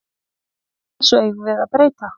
Þessu eigum við að breyta.